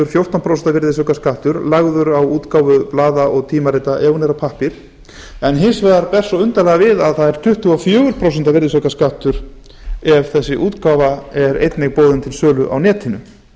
fjórtán prósent virðisaukaskattur lagður á útgáfu blaða og tímarita ef hún er á pappír en hins vegar ber svo undarlega við að það er tuttugu og fjögur prósent virðisaukaskattur ef þessi útgáfa er einnig boðin til sölu á netinu